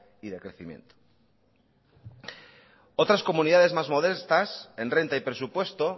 y de crecimiento otras comunidades más molestas en renta y presupuesto